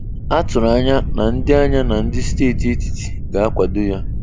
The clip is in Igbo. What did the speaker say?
A tụrụ anya na ndị anya na ndị steeti etiti ga-akwado ya.